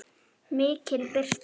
MIKIL BIRTA